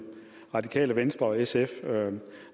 radikale venstre og sf